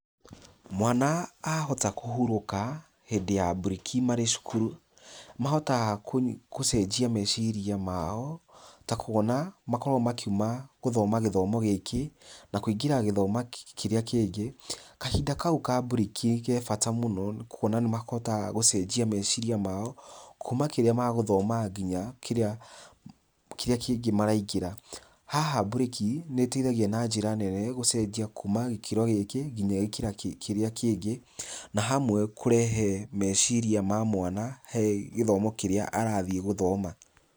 Mwana ahota kũhurũka hĩndĩ ya mburĩki marĩ cukuru, mahotaga gũcenjia meciria mao ta kuona makoragwo makiuma gũthoma gĩthomo gĩkĩ, na kũingĩra gĩthomo kĩrĩa kĩngĩ. Kahinda kau ka mburĩki ke bata mũno nĩ kuona nĩ makũhota gũcenjia meciria mao, kuma kĩrĩa magũthomaga nginya kĩrĩa kĩrĩa kĩngĩ maraingĩra. Haha mburĩki nĩteithagia na njĩra nene gũcenjia kuma gĩkĩro gĩkĩ nginya gĩkĩro kĩrĩa kĩngĩ na hamwe kũrehe meciria ma mwana he gĩthomo kĩrĩa arathiĩ gũthoma.